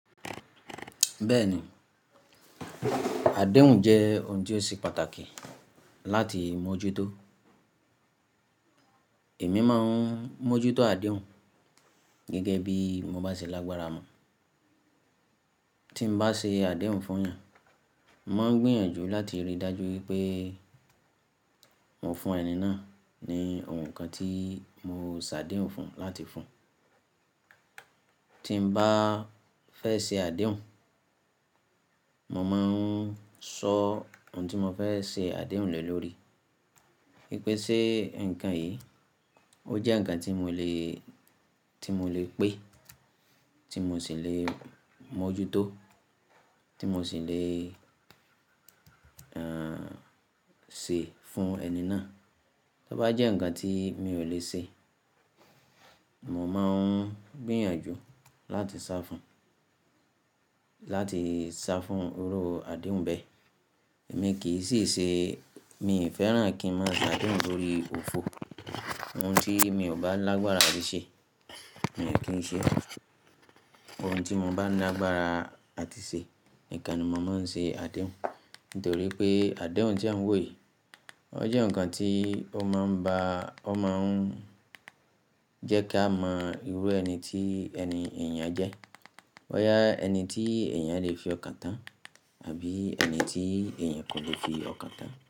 Bẹ́ẹ̀ni, àdéhùn jẹ́ ohun ti o ṣe pàtàkì láti mójútó. Èmi máa ń mójútó àdéhùn gẹ́gẹ́ bíi mo bá ṣe lágbára mo. Tí m bá ṣe àdéhùn fún èèyàn, mo màá n gbìyànjú láti rí i dájú wípé mo fún ẹni náà ní ohun kan tí mo ṣàdéhùn fún láti fún un. Tí m bá fẹ́ se àdéhùn, mo máa ń sọ ohun tí mo fẹ́ ṣe àdéhùn lẹ́ lórí. Wípé ṣe ǹkan yìí, ó jẹ́ ǹkan tí mo lè, tí mo lè pè, tí mo sì lè mójútó, tí mo sì lè, ehn, se fún ẹni náà. Tó bá jẹ́ ǹkan tí mi ò lè ṣe, mò máa ń gbìyànjú láti sá fún, láti sá fún iru àdéhùn bẹ́ẹ̀. Èmi kì í si see, mii fẹ́ràn kí n má ye àdéhùn lórí òfo. Ohun tí mi ò bá lágbára tí ṣe, mii kí ń ṣe. Ohun tí mo bá ní lágbára àti ṣe nìkan ni mo máa ń se àdéhùn. Nítorí pé àdéhùn tí à ń wò yìí, ó jẹ́ ǹkan tí ó máa ń ba, ó máa ń jẹ́ kí a mọ irú ẹni tí ẹni èèyàn jẹ́. Boyá ẹni tí èèyàn lè fi ọkàn tán, àbí ẹni tí èèyàn kò lè fi ọkàn tán.